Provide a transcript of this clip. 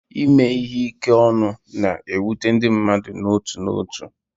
Ime ihe ike ọnụ na-ewute ndị mmadụ n'otu n'otu.